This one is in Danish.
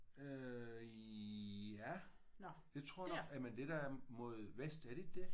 Øh ja det tror jeg nok jamen det der er mod vest er det det?